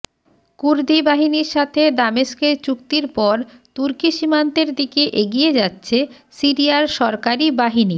কুর্দি বাহিনীর সাথে দামেস্কের চুক্তির পর তুর্কি সীমান্তের দিকে এগিয়ে যাচ্ছে সিরিয়ার সরকারি বাহিনী